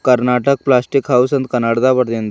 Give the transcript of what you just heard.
Karnataka plastic house ಅಂತ ಕನ್ನಡದಗ ಬರೆದಿಂದ.